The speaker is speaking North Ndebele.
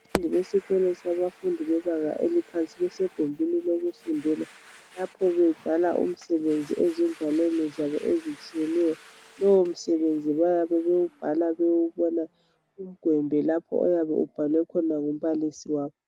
Lesi yisikolo sabafundi bebanga eliphansi besegumbini lokufundela lapho bebhala umsebenzi ezingwalweni zabo ezitshiyeneyo. Lowomsebenzi bayabe bewubhala bewubona kugwembe lapho oyabe ubhalwe khona ngumbalisi wabo.